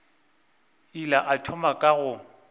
ile a thoma ka go